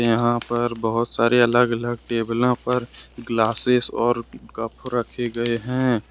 यहां पर बहुत सारे अलग अलग टेबलों पर ग्लासेस और कप रखे गए हैं।